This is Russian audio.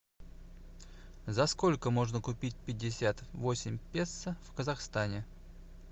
за сколько можно купить пятьдесят восемь песо в казахстане